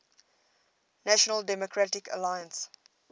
national democratic alliance